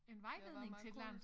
En vejledning til et eller andet